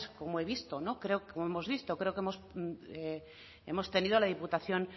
como he visto como hemos visto creo que hemos tenido la diputación